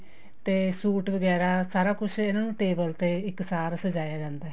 ਤੇ suit ਵਗੈਰਾ ਸਾਰਾ ਕੁੱਛ ਇਹਨਾ ਨੂੰ table ਤੇ ਇੱਕਸਾਰ ਸਜਾਇਆ ਜਾਂਦਾ